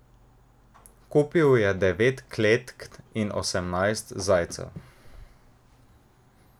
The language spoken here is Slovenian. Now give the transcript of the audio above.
Kupil je devet kletk in osemnajst zajcev.